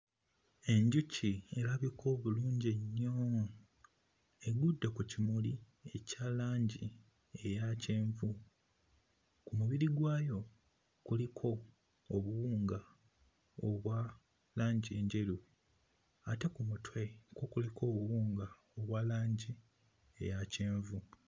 Enjuki erabika obulungi ennyo egudde ku kimuli ekya langi eya kyenvu. Ku mubiri gwayo kuliko obuwunga obwa langi enjeru ate ku mutwe kwo kuliko obuwunga obwa langi eya kyenvu.